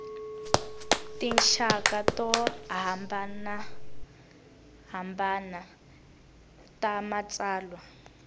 tinxaka to hambanahambana ta matsalwa